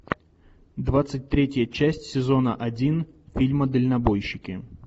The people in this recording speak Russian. двадцать третья часть сезона один фильма дальнобойщики